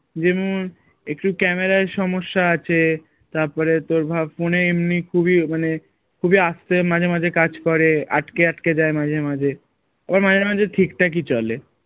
যেমন একটু camera য় সমস্যা আছে তারপরে তোর ভাব phone এ এমনি খুবই মানে খুবই আস্তে মাঝে মাঝে কাজ করে আটক আটকে আটকে যায় মাঝে মাঝে আবার মাঝে মাঝে ঠিক ঠাক ই চলে